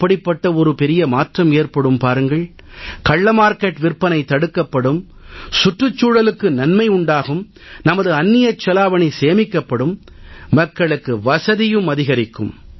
எப்படிப்பட்ட ஒரு பெரிய மாற்றம் ஏற்படும் பாருங்கள் கள்ள மார்க்கெட் விற்பனை தடுக்கப்படும் சுற்றுச்சூழலுக்கு நன்மை உண்டாகும் நமது அந்நியச் செலாவணி சேமிக்கப்படும் மக்களுக்கு வசதியும் அதிகரிக்கும்